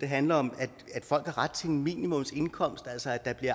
handler om at folk har ret til en minimumsindkomst altså at det